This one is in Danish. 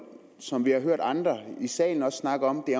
som vi også har hørt andre i salen snakke om det